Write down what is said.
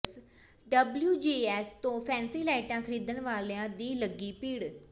WJS ਤੋਂ fancy ਲਾਈਟਾਂ ਖ਼ਰੀਦਣ ਵਾਲਿਆਂ ਦੀ ਲੱਗੀ ਭੀੜ